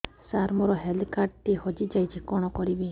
ସାର ମୋର health card ଟି ହଜି ଯାଇଛି କଣ କରିବି